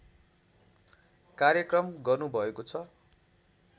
कार्यक्रम गर्नुभएको छ